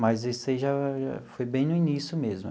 Mas isso aí já foi bem no início mesmo.